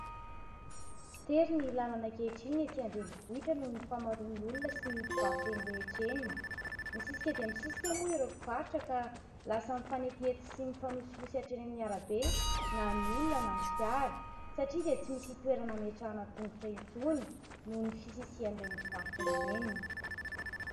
Tery ny làlana ankehitriny etỳ andrenivohitra noho ny famaroan'ny olona sy ny mpivarotra eny rehetra eny. Misisika dia misisika moa ireo mpivarotra ka lasa mifanetiety sy mifanosihosy hatreny amin'ny arabe na ny olona na ny fiara, satria dia tsy misy toerana ametrahana tongotra intsony noho ny fisisihan'ireny mpivarotra ireny.